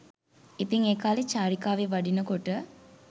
ඉතින් ඒ කාලේ චාරිකාවේ වඩිනකොට